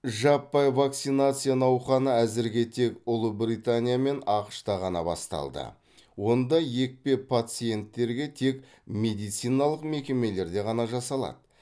жаппай вакцинация науқаны әзірге тек ұлыбритания мен ақш та ғана басталды онда екпе пациенттерге тек медициналық мекемелерде ғана жасалады